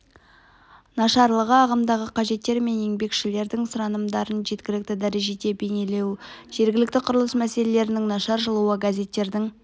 нашарлығы ағымдағы қажеттер мен еңбекшілердің сұранымдарын жеткілікті дәрежеде бейнелемеу жергілікті құрылыс мәселелерінің нашар жазылуы газеттердің